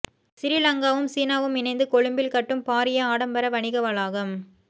சிறிலங்காவும் சீனாவும் இணைந்து கொழும்பில் கட்டும் பாரிய ஆடம்பர வணிக வளாகம்